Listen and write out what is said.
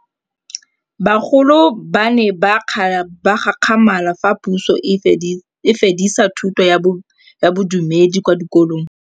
Bagolo ba ne ba gakgamala fa Pusô e fedisa thutô ya Bodumedi kwa dikolong.